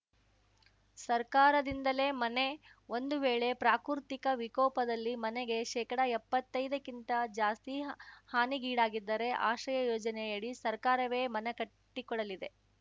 ಸರ್ಕಾರದಿಂದಲೇ ಮನೆ ಒಂದು ವೇಳೆ ಪ್ರಾಕೃತಿಕ ವಿಕೋಪದಲ್ಲಿ ಮನೆಗೆ ಶೇಕಡಎಪ್ಪತ್ತೈದಕ್ಕಿಂತ ಜಾಸ್ತಿ ಹಾನಿಗೀಡಾದರೆ ಆಶ್ರಯಯೋಜನೆಯಡಿ ಸರ್ಕಾರವೇ ಮನೆ ಕಟ್ಟಿಕೊಡಲಿದೆ